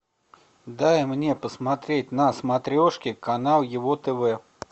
дай мне посмотреть на смотрешке канал его тв